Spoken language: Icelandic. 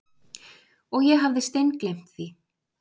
Og ég hafði steingleymt því.